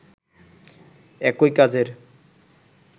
একই কাজের